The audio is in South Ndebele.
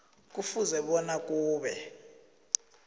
kufuze bona kube